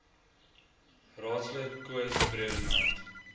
raadslid koos bredenhand